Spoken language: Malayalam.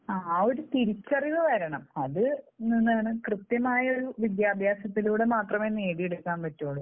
ആ ഒരു തിരിച്ചറിവ് മരണം അത് ആളുകൾക്ക് എന്ത്‌ന്നാണ്, കൃത്യമായ ഒരു വിദ്യാഭ്യാസത്തിലൂടെ മാത്രമേ നേടിയെടുക്കാൻ പറ്റൂ.